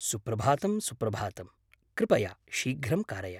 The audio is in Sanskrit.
सुप्रभातं सुप्रभातं; कृपया शीघ्रं कारय।